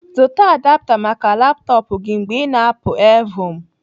Zụta adapta maka laptọpụ gị mgbe ị na-apụ evhum